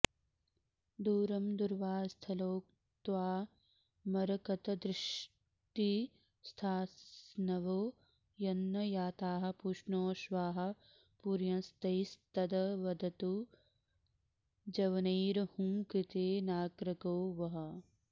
दूरं दूर्वास्थलोत्का मरकतदृषदि स्थास्नवो यन्न याताः पूष्णोऽश्वाः पूरयंस्तैस्तदवतु जवनैर्हुंकृतेनाग्रगो वः